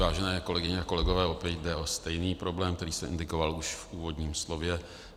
Vážené kolegyně a kolegové, opět jde o stejný problém, který jsem indikoval už v úvodním slově.